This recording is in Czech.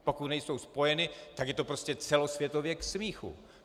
Pokud nejsou splněny, tak je to prostě celosvětově k smíchu!